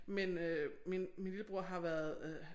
Men øh min min lillebror har været